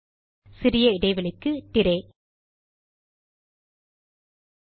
சிறிய இடைவெளிக்கு திராய்